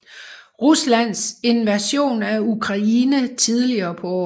Ruslands invasion af Ukraine tidligere på året